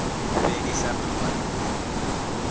fhelisa phambano i a vhofha